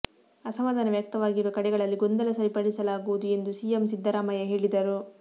ಅಸಮಾಧಾನ ವ್ಯಕ್ತವಾಗಿರುವ ಕಡೆಗಳಲ್ಲಿ ಗೊಂದಲ ಸರಿಪಡಿಸಲಾಗುವುದು ಎಂದು ಸಿಎಂ ಸಿದ್ದರಾಮಯ್ಯ ಹೇಳಿದರು